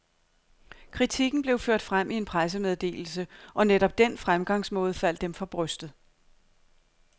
Kritikken blev ført frem i en pressemeddelse, og netop den fremgangsmåde faldt dem for brystet.